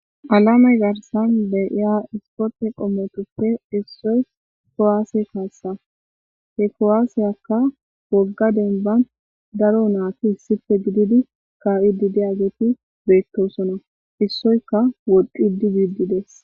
Aleme garssan di'ya isporte qomotuppe issoy kuwasse kassa he kuwassakka wogga dembban daro nati issippe gididi ka'id diyaget bettosona issoyikka woxid bid des